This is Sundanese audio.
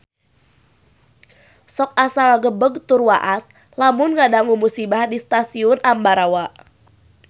Sok asa ngagebeg tur waas lamun ngadangu musibah di Stasiun Ambarawa